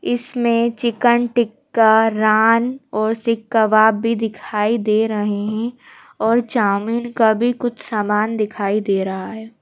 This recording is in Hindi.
इसमें चिकन टिक्का रान और सिक कबाब भी दिखाई दे रहे हैं और चामीन का भी कुछ सामान दिखाई दे रहा है।